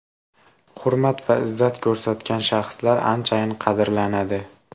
Hurmat va izzat ko‘rsatgan shaxslar anchayin qadrlanadi.